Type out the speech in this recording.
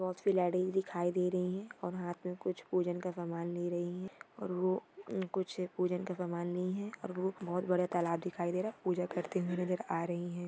बहुत सारी लेटीज दिखाई रही है और हात मे कुछ पूजन का सामन ले रही है और वो कुछ पूजन का सामान ली है और बहुत बडा तलाब दिखाई दे रहा है और पूजन करते हुये नजर आ रही है।